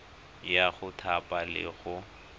ya go thapa le go